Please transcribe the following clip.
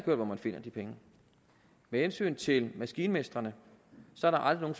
hørt hvor man finder de penge med hensyn til maskinmestrene er der aldrig